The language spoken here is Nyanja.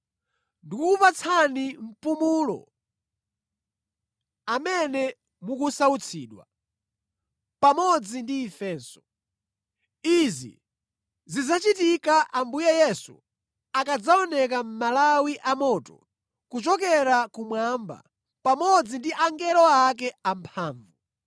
ndikukupatsani mpumulo amene mukusautsidwa, pamodzi ndi ifenso. Izi zidzachitika Ambuye Yesu akadzaoneka mʼmalawi amoto kuchokera kumwamba pamodzi ndi angelo ake amphamvu.